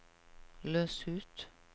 løs ut